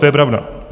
To je pravda.